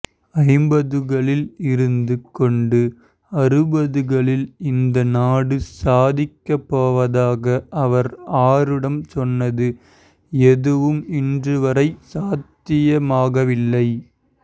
ஐம்பதுகளில் இருந்து கொண்டு அறுபதுகளில் இந்த நாடு சாதிக்கப்ப்போவதாக அவர் ஆரூடம் சொன்னது எதுவும் இன்று வரை சாத்தியமாகவில்லை